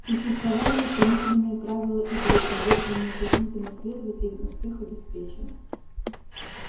существовали установленные правила игры и если неукоснительно следовать им успех обеспечен